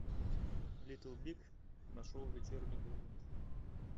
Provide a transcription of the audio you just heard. литл биг на шоу вечерний ургант